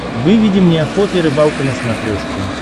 выведи мне охота и рыбалка на смотрешке